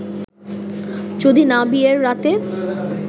যদি না বিয়ের রাতে